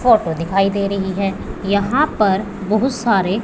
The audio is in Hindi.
फोटो दिखाई दे रही है यहां पर बहुत सारे--